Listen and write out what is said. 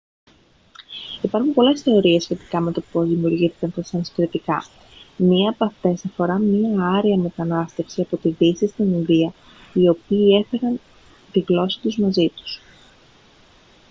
υπάρχουν πολλές θεωρίες σχετικά με το πώς δημιουργήθηκαν τα σανσκριτικά μια από αυτές αφορά μια άρια μετανάστευση από τη δύση στην ινδία οι οποίοι έφεραν τη γλώσσα τους μαζί τους